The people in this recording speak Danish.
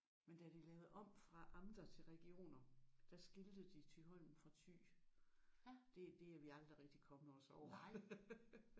Men da de lavede om fra amter til regioner der skilte de Thyholm fra Thy. Det det er vi aldrig rigtig kommet os over